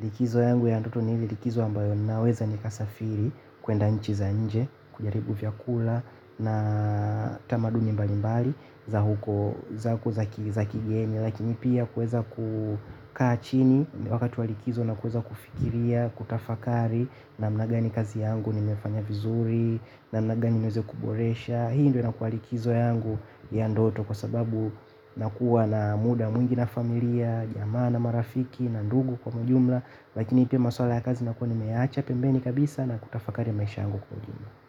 likizo yangu ya ndoto nile likizo ambayo naweza ni kasafiri kwenda nchi za nje, kujaribu vyakula na tamaduni mbali mbali za huko za kigeni lakini pia kuweza kukaa chini wakati wa likizo na kuweza kufikiria, kutafakari namna gani kazi yangu ni meifanya vizuri namna gani nimeweze kuboresha. Hii ndio inakuwa likizo yangu ya ndoto kwa sababu na kuwa na muda mwingi na familia jamaa na marafiki na ndugu kwa ujumla lakini pia maswala ya kazi nakuwa nimeyaacha pembeni kabisa na kuyatafakari maisha yangu kwa ujumla.